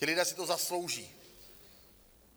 Ti lidé si to zaslouží.